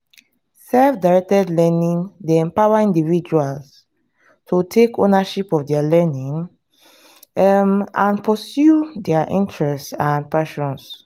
self-directed learning dey empower individuals to take ownership of dia learning um and pursue dia interest and passions.